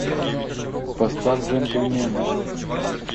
поставь джентльмены